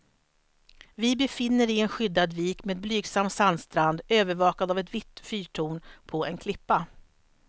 Vi befinner i en skyddad vik med blygsam sandstrand, övervakad av ett vitt fyrtorn på en klippa.